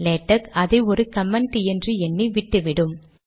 LaTeX அதை ஒரு comment என்று எண்ணி விட்டுவிடும்